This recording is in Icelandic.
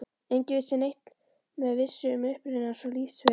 Enginn vissi neitt með vissu um uppruna hans og lífsferil.